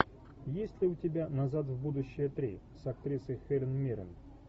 есть ли у тебя назад в будущее три с актрисой хелен миррен